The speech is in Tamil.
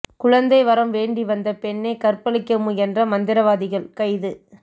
குழந்தை வரம் வேண்டி வந்த பெண்ணை கற்பழிக்க முயன்ற மந்திரவாதிகள் கைது